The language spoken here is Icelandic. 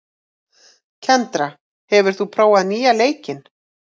Kendra, hefur þú prófað nýja leikinn?